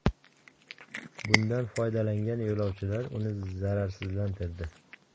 Bundan foydalangan yo‘lovchilar uni zararsizlantirdi.